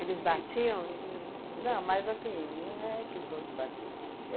batiam em... Não, mas assim, não é questão de bater.